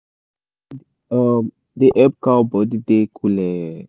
shade um da help cow body da cooleh